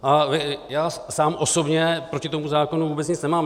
A já sám osobně proti tomu zákonu vůbec nic nemám.